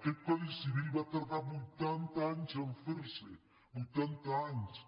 aquest codi civil va tardar vuitanta anys a fer se vuitanta anys